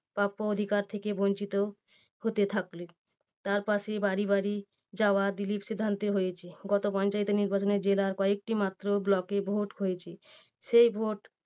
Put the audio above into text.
প্রাপ্য অধিকার থেকে বঞ্চিত হতে থাকলে তার পাশে বাড়ি বাড়ি যাওয়া দিলীপ সিদ্ধান্তে হয়েছে। গত পঞ্চায়েত নির্বাচনে জেলার কয়েকটি মাত্র block এ ভোট হয়েছে। সেই ভোট